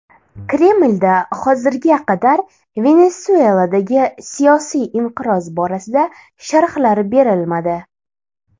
Kremlda hozirga qadar Venesueladagi siyosiy inqiroz borasida sharhlar berilmadi.